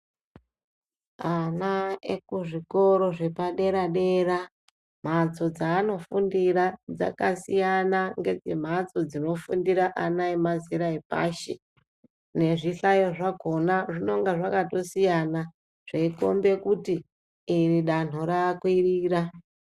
Ana ekuzvikora zvepadera-dera ,mphatso dzaanofundira dzakasiyana ngedzemphatso dzinofundira ana emazera epashi, nezvihlayo zvakhona zvinonga zvakatosiyana, zveikhombe kuti ,iri danho rakwirira.